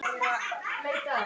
Háaloft var ríki